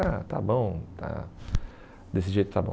Ah, está bom, tá, desse jeito está bom.